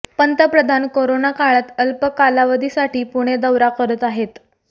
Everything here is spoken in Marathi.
पंतप्रधान कोरोना काळात अल्प कालावधीसाठी पुणे दौरा करत आहेत